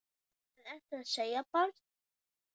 Hvað ertu að segja, barn?